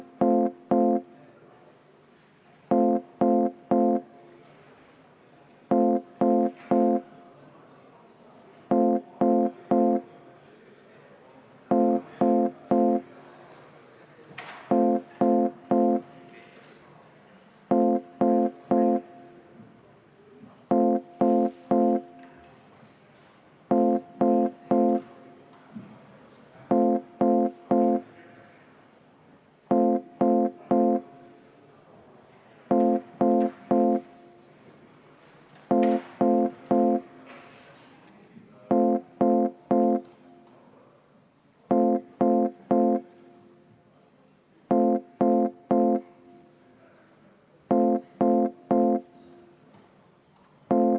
Ma palun seda muudatusettepanekut hääletada!